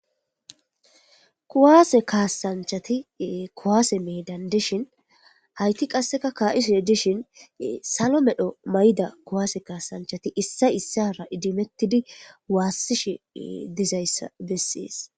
Kowaase kaasanchati kowaase medandishin hayti qasseka kaa7iso edishin salo medho mayda kowaase kaasanchati issa issara idimettidi waassishi dizayssa bessees